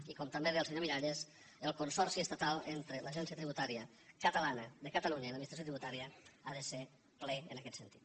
i com també deia el senyor miralles el consorci estatal entre l’agència tributària de catalunya i l’administració tributària ha de ser ple en aquest sentit